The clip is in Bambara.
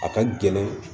A ka gɛlɛn